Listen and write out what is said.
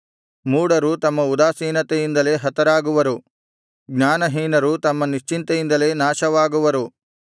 ಮೂಢರು ತಮ್ಮ ಉದಾಸೀನತೆಯಿಂದಲೇ ಹತರಾಗುವರು ಜ್ಞಾನಹೀನರು ತಮ್ಮ ನಿಶ್ಚಿಂತೆಯಿಂದಲೇ ನಾಶವಾಗುವರು